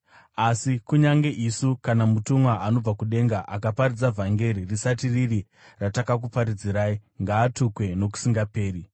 Asi kunyange isu kana mutumwa anobva kudenga akaparidza vhangeri risati riri ratakakuparidzirai, ngaatukwe nokusingaperi!